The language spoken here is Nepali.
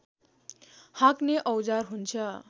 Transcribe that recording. हाँक्ने औजार हुन्छ